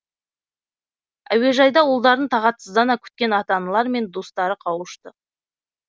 әеужайда ұлдарын тағатсыздана күткен ата аналар мен достары қауышты